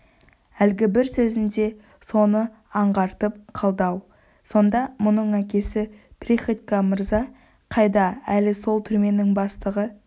әлгі бір сөзінде соны аңғартып қалды-ау сонда мұның әкесі приходько мырза қайда әлі сол түрменің бастығы